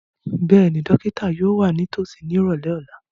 Bẹ́ẹ̀ni, dókítà yóò wà nítòsí ní ìrọ̀lẹ́ ọ̀la